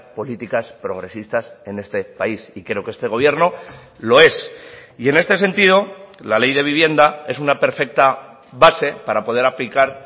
políticas progresistas en este país y creo que este gobierno lo es y en este sentido la ley de vivienda es una perfecta base para poder aplicar